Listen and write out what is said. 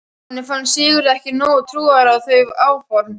Honum fannst Sigurður ekki nógu trúaður á þau áform.